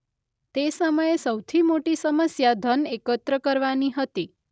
તે સમયે સૌથી મોટી સમસ્યા ધન એકત્ર કરવાની હતી.